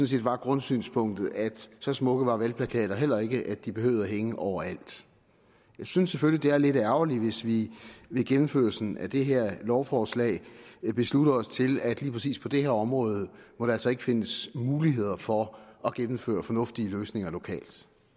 set var grundsynspunktet at så smukke var valgplakater heller ikke at de behøvede at hænge overalt jeg synes selvfølgelig det er lidt ærgerligt hvis vi med gennemførelsen af det her lovforslag beslutter os til at lige præcis på det her område må der altså ikke findes muligheder for at gennemføre fornuftige løsninger lokalt